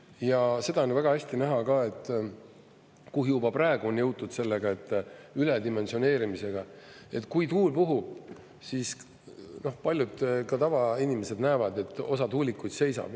Ja seda on ju väga hästi näha ka, et kui juba praegu on jõutud sellega, et üledimensioneerimisega, et kui tuul puhub, siis paljud, ka tavainimesed näevad, et osa tuulikuid seisab.